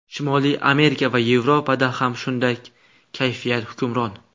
Shimoliy Amerika va Yevropada ham shunday kayfiyat hukmron.